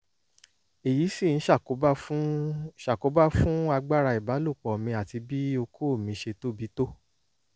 èyí sì ń ṣàkóbá fún ṣàkóbá fún agbára ìbálòpọ̀ mi àti bí okó mi ṣe tóbi tó